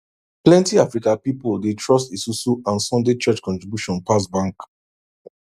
plenty african pipo dey trust esusu and sunday church contribution pass bank